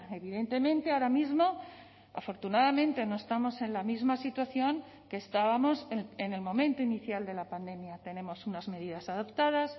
evidentemente ahora mismo afortunadamente no estamos en la misma situación que estábamos en el momento inicial de la pandemia tenemos unas medidas adaptadas